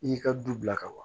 I y'i ka du bila ka ban